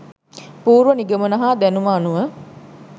පූර්ව නිගමන හා දැනුම අනුව